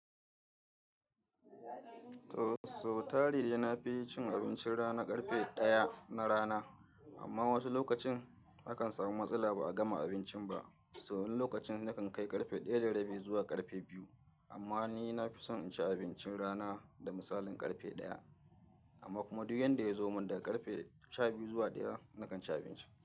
To, so tari dai na fi cin abincin rana ƙarfe ɗaya na rana, amma wasu lokacin akan samu matsala ba'a gama abincin ba, So wannan lokacin nakan kai ƙarfe ɗaya da rabi zuwa ƙarfe biyu amma ni na fi son in ci abincin rana da misalin ƙarfe ɗaya amma kuma du yanda ya zo mun daga ƙarfe sha biyu zuwa ɗaya nakan ci abinci.